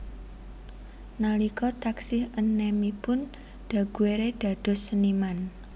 Nalika taksih enèmipun Daguerre dados seniman